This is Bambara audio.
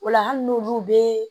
O la hali n'olu bɛ